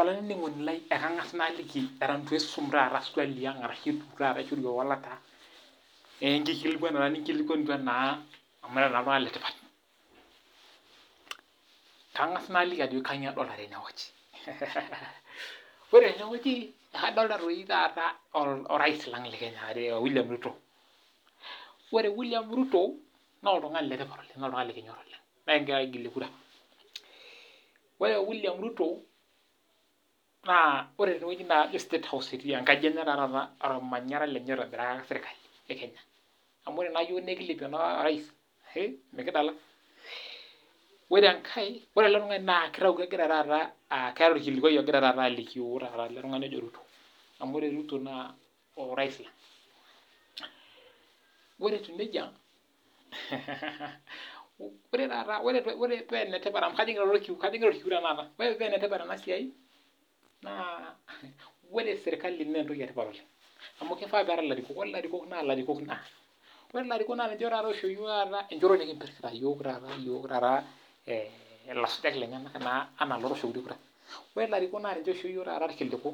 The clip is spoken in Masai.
ore tenewueji nadolita orais lang William Ruto ore William Ruto naa oltung'ani letipat oleng oltung'ani likinyor oleng naa ekigira aigilie kura ore Ruto naa state house etii enkaji enye ormanyara lenye oitobiraki sirkali e Kenya amu ore naa iyiok naa ekilepie orais mikidala ore enkae ore ele tung'ani kitau keeta orkilikuai taata ogira alikio el tung'ani oji Ruto amu ore Ruto naa orais ore etieu nejia ore pee enetipat ena siai ore sirkali naa enetipat amu kifaa neetae elarikok ore elarikok naa ninche oisho iyiok enjoto nikimpir iyiok taata elasujak lenyena enaa eloo toshokito kura ore elarikok naa ninche oisho iyiok irkiliku